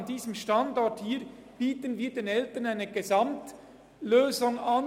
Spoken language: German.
An unserem Standort bieten wir den Eltern eine Gesamtlösung an;